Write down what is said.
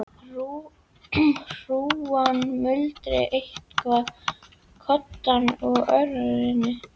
Hrúgan muldraði eitthvað í koddann og Örn fór fram.